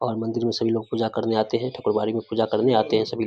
और मंदिर में सभी लोग पूजा करने आते हैं ठकुरबाड़ी में पूजा करने आते हैं सभी।